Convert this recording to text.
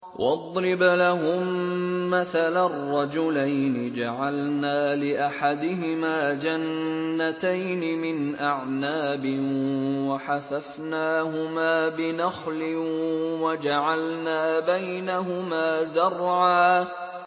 ۞ وَاضْرِبْ لَهُم مَّثَلًا رَّجُلَيْنِ جَعَلْنَا لِأَحَدِهِمَا جَنَّتَيْنِ مِنْ أَعْنَابٍ وَحَفَفْنَاهُمَا بِنَخْلٍ وَجَعَلْنَا بَيْنَهُمَا زَرْعًا